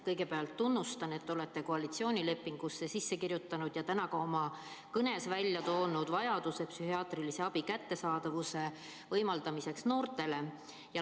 Kõigepealt tunnustan, et te olete koalitsioonilepingusse sisse kirjutanud ja täna ka oma kõnes ära toonud vajaduse psühhiaatrilise abi kättesaadavuse võimaldamiseks noortele.